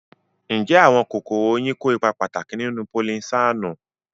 Ǹjẹ́ àwọn kòkòrò oyin kó ipa pàtàkì nínú polinésáànù?